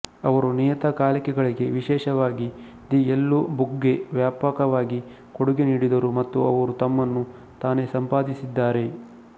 ಅವರು ನಿಯತಕಾಲಿಕೆಗಳಿಗೆ ವಿಶೇಷವಾಗಿ ದಿ ಯೆಲ್ಲೊ ಬುಕ್ಗೆ ವ್ಯಾಪಕವಾಗಿ ಕೊಡುಗೆ ನೀಡಿದರು ಮತ್ತು ಅವರು ತಮ್ಮನ್ನು ತಾನೇ ಸಂಪಾದಿಸಿದ್ದಾರೆ